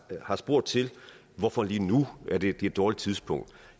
der har spurgt til hvorfor lige nu det er et dårligt tidspunkt